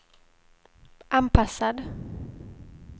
anpassad